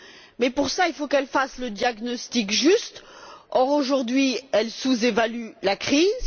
Mais pour cela, il faut qu'elle fasse le diagnostic juste or, aujourd'hui, elle sous évalue la crise.